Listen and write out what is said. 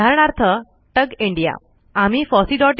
उदाहरणार्थ tug India tug India